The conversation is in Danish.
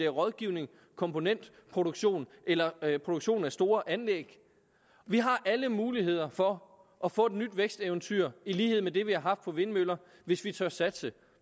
rådgivning komponentproduktion eller produktion af store anlæg vi har alle muligheder for at få et nyt væksteventyr i lighed med det vi har haft med vindmøllerne hvis vi tør satse